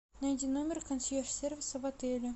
найди номер консьерж сервиса в отеле